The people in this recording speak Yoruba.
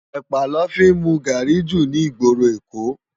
Èpá lò fi n mú gári jú ni igbóró Ékó